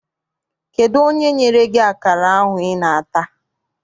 Kedụ onye nyere gị akara ahụ I na-ata?